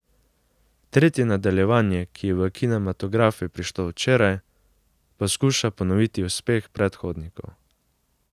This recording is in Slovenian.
Tretje nadaljevanje, ki je v kinematografe prišlo včeraj, poskuša ponoviti uspeh predhodnikov.